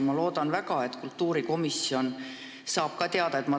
Ma loodan väga, et kultuurikomisjon saab ka toimuvast teada.